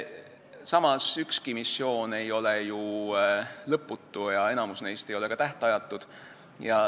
Samas, ükski missioon ei ole ju lõputu ja enamik neist ei ole ka tähtajatud.